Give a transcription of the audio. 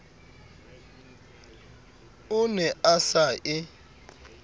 o ne a sa e